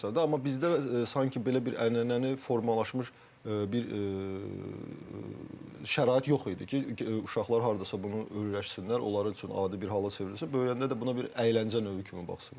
Amma bizdə sanki belə bir ənənəni formalaşmış bir şərait yox idi ki, uşaqlar hardasa bunu öyrəşsinlər, onlar üçün adi bir hala çevrilsin, böyüyəndə də buna bir əyləncə növü kimi baxsınlar.